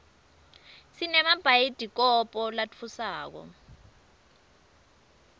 sinemabhayidikobho latfusako